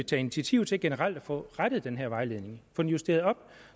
tage initiativ til generelt at få rettet den her vejledning få den justeret op